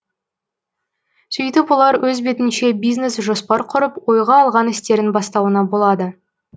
сөйтіп олар өз бетінше бизнес жоспар құрып ойға алған істерін бастауына болады